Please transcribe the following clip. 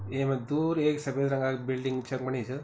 येमा दूर ऐक सफेद रंगाक बिल्डिंग चमकणी च।